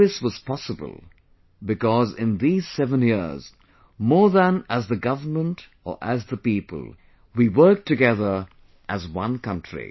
All this was possible because in these 7 years, more than as the Government or as the people, we worked together as one country